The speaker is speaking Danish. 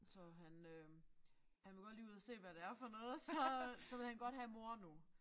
Så han øh han vil godt lige ud og se hvad det er for noget så så vil han godt have mor nu